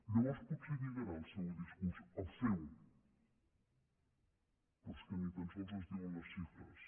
llavors potser lligarà el seu discurs el seu però és que ni tan sols ens diuen les xifres